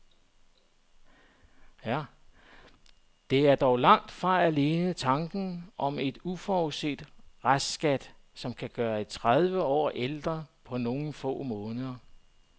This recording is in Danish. Det er dog langt fra alene tanken om en uforudset restskat, som kan gøre en tredive år ældre på nogle få måneder.